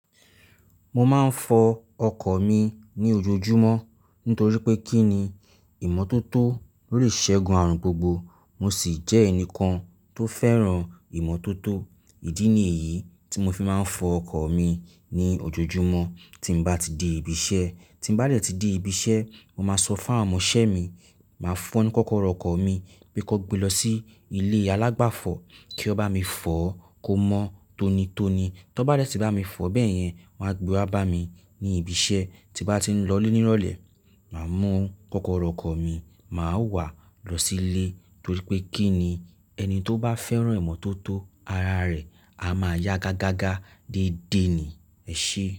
Mo máa ń fọ ọkọ̀ mi ní ojoojúmọ́ nítorí pé kí ni ìmọ́tótó ló le ṣẹ́gun àrùn gbogbo. Mo sì jẹ́ ẹnìkan tó fẹ́ràn ìmọ́tótó. Ìdí nìyí tí mo fi máa ń fọ ọkọ̀ mi ní ojoojúmọ́ tí n bá ti di ibi iṣẹ́. Tí n bá dẹ tí dẹ ibi iṣẹ́, mo máa sọ fún àwọn ọmọ iṣẹ́ mi, máa fún wọn ni kọ́kọ́rọ́ ọkọ̀ mi pé kí wọ́n gbé lọ sí ilé alágbàfọ̀ kí ó bá mi fọ kó mọ́ tónítóni. Tọ n bá dẹ tí bá mi fọ bẹ́ẹ̀ yẹn, wọ́n á gbe wá bá mi ní ibi iṣẹ́. Tí n bá ti ń lọ lé ní ìrọ̀lẹ́, màá mú kọ́kọ́rọ́ ọkọ̀ mi, màá wà á lọ sílé nítorí pé kí ni ẹni tó bá fẹ́ràn ìmọ́tótó, ara rẹ̀ á máa yá gágágá dédé ni. Ẹ ṣé.